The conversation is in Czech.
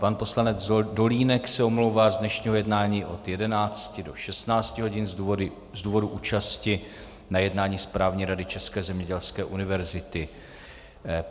Pan poslanec Dolínek se omlouvá z dnešního jednání od 11 do 16 hodin z důvodu účasti na jednání správní rady České zemědělské univerzity.